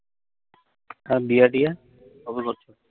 আর বিয়া-টিয়া কবে করছো?